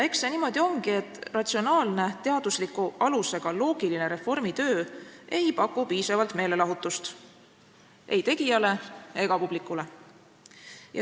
Eks see niimoodi ongi, et ratsionaalne, teaduslikul alusel põhinev ja loogiline reformitöö ei paku piisavalt meelelahutust ei tegijale ega publikule.